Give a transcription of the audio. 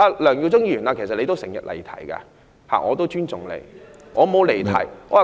梁耀忠議員，其實你亦經常離題，但我也尊重你。